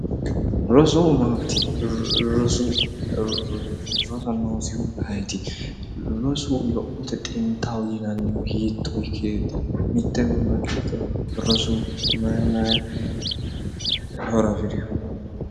Rosu maati roso rosa noosihu ayeeti rosu lophote xintaho yinannihu hiitto ikkeeti mitte gobba giddo rosu mayi mayi horo afirewo